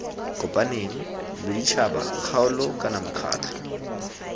kopaneng boditšhabatšhaba kgaolo kana mekgatlho